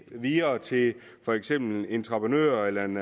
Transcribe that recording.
videre til for eksempel en entreprenør eller en